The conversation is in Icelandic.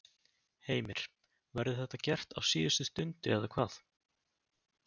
Heimir: Verður þetta gert á síðustu stundu eða hvað?